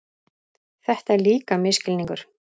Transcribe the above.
Þetta er líka misskilningur.